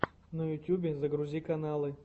на ютюбе загрузи каналы